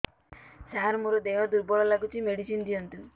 ସାର ମୋର ଦେହ ଦୁର୍ବଳ ଲାଗୁଚି ମେଡିସିନ ଦିଅନ୍ତୁ